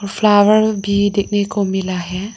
Flower भी देखने को मिला है।